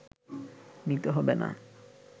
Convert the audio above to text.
নিতে হবে না